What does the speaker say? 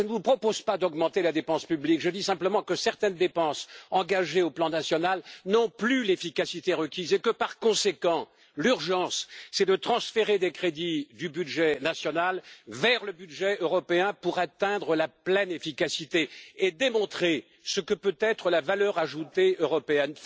Je ne vous propose pas d'augmenter la dépense publique, je dis simplement que certaines dépenses engagées sur le plan national n'ont plus l'efficacité requise et que, par conséquent, l'urgence, c'est de transférer des crédits du budget national vers le budget européen pour atteindre la pleine efficacité et démontrer ce que peut être la valeur ajoutée européenne.